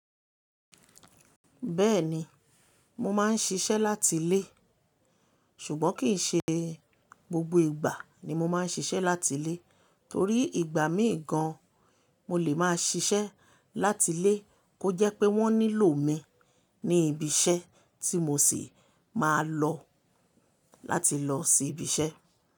Bẹ́ẹ̀ni, mo máa ń ṣiṣẹ́ láti ilé, ṣùgbọ́n kì í ṣe gbogbo ìgbà ni mo máa ń ṣiṣẹ́ láti ilé, torí ìgbà mii gan mo lè máa ṣiṣẹ́ láti ilé kó jẹ́ pé wọ́n nílò mi ní ibi iṣẹ́ tí mo sì máa lọ láti lọ sí ibi iṣẹ́.